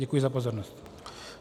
Děkuji za pozornost.